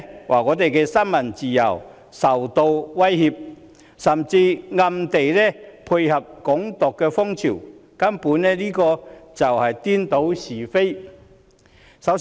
她說新聞自由受到威脅，甚至暗地裏配合"港獨"風潮，根本是顛倒是非。